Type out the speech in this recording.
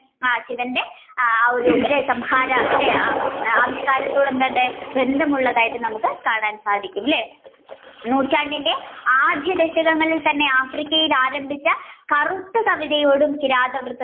ശിവന്റെ ആ ഒരു അല്ലെ ആവിഷ്കാരത്തോട് എന്തുണ്ട് ബന്ധമുള്ളതായിട്ട് നമ്മുക്ക് കാണാൻ സാധിക്കും അല്ലെ നൂറ്റാണ്ടിലെ ആദ്യ ദശകങ്ങളിൽ തന്നെ Africa ഇൽ ആരംഭിച്ച കറുത്ത കിരാതവൃത്തം